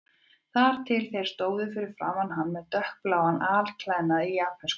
Þar til þeir stóðu fyrir framan hann með dökkbláan alklæðnað í japönskum stíl.